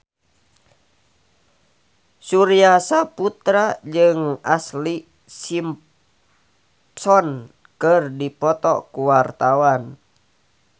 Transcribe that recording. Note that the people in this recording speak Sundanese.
Surya Saputra jeung Ashlee Simpson keur dipoto ku wartawan